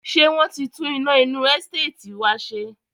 Ṣé wọn ti tún iná inú Ẹsteetì wá ṣe?